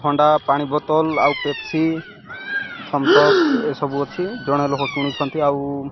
ଥଣ୍ଡା ପାଣି ବଟଲ୍ ଆଉ ପେପ୍ସି ଥମ୍ସଅପ ଏ ସବୁ ଅଛି ଜଣେ ଲୋକ କିଣୁଛନ୍ତି ଆଉ।